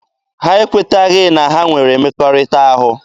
Ha ekweteghị na ha nwere mmekọahụ.